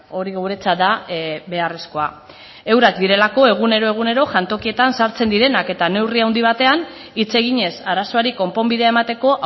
hori guretzat da beharrezkoa eurek direlako egunero egunero jantokietan sartzen direnak eta neurri handi batean hitz eginez arazoari konponbidea emateko